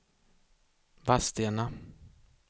Vadstena